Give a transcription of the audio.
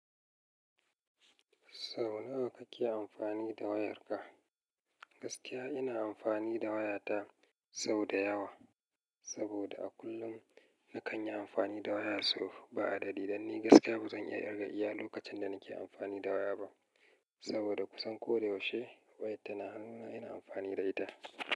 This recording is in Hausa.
Sau nawa kake amfani da wayarka? Gaskiya ina amfani da wayata sau da yawa saboda a kullum na kan yi amfani da waya sau ba'adadi. Dan ni gaskiya bazan iya ƙirga iya lokacin da nake amfani da waya ba saboda kusan ko da yaushe wayar ta na hanuna ina amfani da ita.